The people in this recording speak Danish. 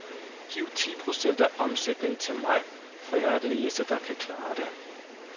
Giv ti procent af omsætningen til mig, for jeg er den eneste, der kan klare det.